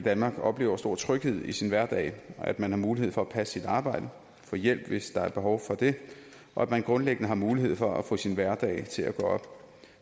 i danmark oplever stor tryghed i sin hverdag at man har mulighed for at passe sit arbejde og få hjælp hvis der er behov for det og at man grundlæggende har mulighed for at få sin hverdag til at gå op